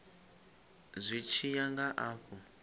zwi tshi ya nga afho